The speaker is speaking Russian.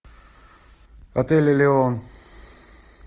отель элеон